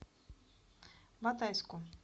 батайску